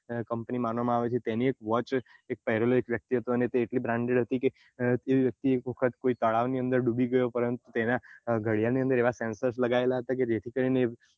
comapany માનવા માં આવે છે એમની એક watch એક paralyze વ્યક્તિ હતો તે એટલી branded હતી કે જે વ્યક્તિ એક તળાવ ની અંદર ડૂબી ગયો પરંતુ તેના ઘડિયાળ ની અંદર એવા sensor લાગયેલા હતા જેથી કરીને